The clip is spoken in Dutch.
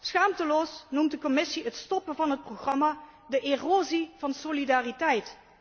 Schaamteloos noemt de Commissie de stopzetting van het programma erosie van solidariteit.